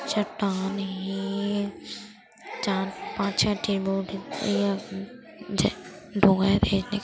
चट्टान हे चार पांच छै ठी बोट हे यह